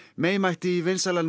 mætti í vinsælan